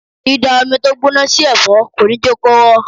Dida omi tó gbóná sí ẹ̀fọ́ kò ní jẹ́ kó rọ̀.